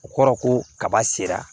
O kɔrɔ ko kaba sera